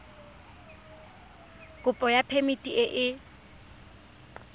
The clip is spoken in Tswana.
kopo ya phemiti e e